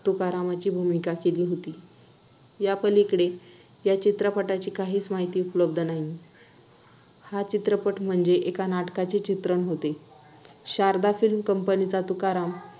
तुकारामांची भूमिका केली होती. यापलीकडे या चित्रपटाची काहीच माहिती उपलब्ध नाही. हा चित्रपट म्हणजे एका नाटकाचे चित्रण होते. Sharada film company 'Tukaram'